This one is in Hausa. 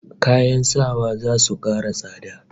Kayan sawa zasu kara tsada